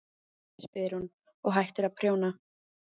spyr hún og hættir að prjóna.